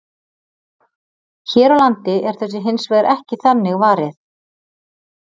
Hér á landi er þessu hins vegar ekki þannig varið.